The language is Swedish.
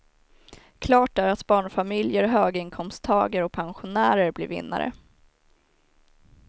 Klart är att barnfamiljer, höginkomsttagare och pensionärer blir vinnare.